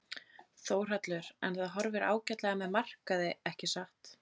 Þórhallur: En það horfir ágætlega með markaði ekki satt?